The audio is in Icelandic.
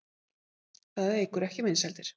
Það eykur ekki vinsældir.